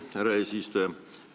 Aitäh, härra eesistuja!